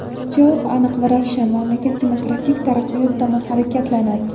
Javob aniq va ravshan mamlakat demokratik taraqqiyot tomon harakatlanadi.